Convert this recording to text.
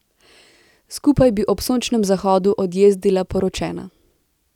Skupaj bi ob sončnem zahodu odjezdila poročena.